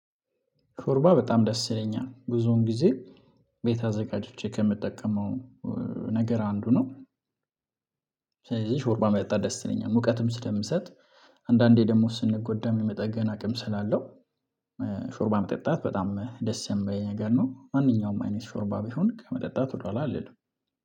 ሾርባ በጣም ደስ ይለኛል ብዙውን ጊዜ ቤት አዘጋጅቼ ከምጠቀመው እ ነገር አንዱ ነው። ስለዚህ ሾርባ መጠጣት ደስ ይለኛል ሙቀትም ስለምሰጥ አንዳንዴ ደግሞ ስንጎዳ የመጠገን አቅም ስላለው እ ሾርባ መጠጣት በጣም ደስ የሚባለኝ ነገር ነው። ማንኛውም አይነት ሾርባ ቢሆን ከመጠጣት ወደኋላ አልልም